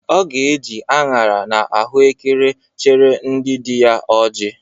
Ọ ga-eje aṅara na ahụekere chere ndị dị ya ọjị